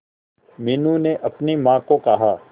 मीनू ने अपनी मां को कहा